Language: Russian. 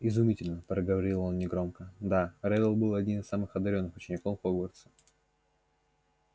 изумительно проговорил он негромко да реддл был один из самых одарённых учеников хогвартса